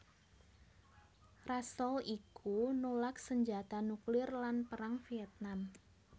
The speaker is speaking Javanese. Russell iku nulak sanjata nuklir lan Perang Vietnam